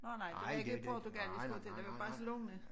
Nåh nej det var ikke Portugal vi skal ud til det var Barcelona